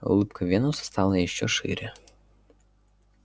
улыбка венуса стала ещё шире